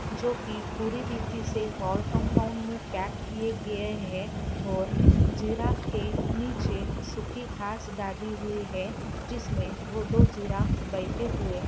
जो की पूरी रीतिसे वॉल कंपाउंड में पैक किए गए है और जीराफ के नीचे सूखी घास डाली हुई है जिसमे वो दो जीराफ बैठे हुए है।